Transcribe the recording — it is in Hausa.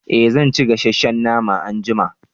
eh zan ci gasasshen nama anjima